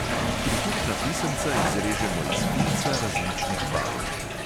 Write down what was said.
Prikupna pisemca izrežemo iz filca različnih barv.